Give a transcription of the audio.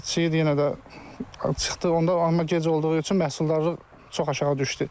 Çiyid yenə də çıxdı onda amma gec olduğu üçün məhsuldarlıq çox aşağı düşdü.